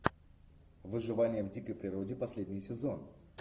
выживание в дикой природе последний сезон